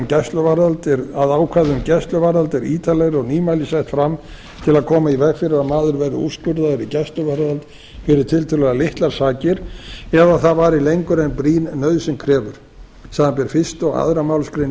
nefna að ákvæði um gæsluvarðhald er ítarlegra og nýmæli sett fram til að koma í veg fyrir að maður verði úrskurðaður í gæsluvarðhald fyrir tiltölulega litlar sakir eða það vari lengur en brýn nauðsyn krefur samanber fyrstu og annarri málsgrein